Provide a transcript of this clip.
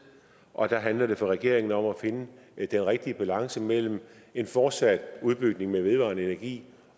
og der handler det for regeringen om at finde den rigtige balance mellem en fortsat udbygning med vedvarende energi